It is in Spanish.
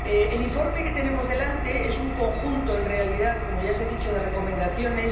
El informe que tenemos delante es un conjunto en realidad, como ya se ha dicho— de recomendaciones.